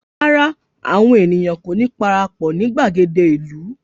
Rárá, àwọn ènìyàn kò ní parapọ̀ ní gbàgede ìlú